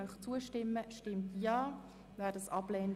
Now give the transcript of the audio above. Ich erteile zuerst dem Präsidenten der FiKo das Wort.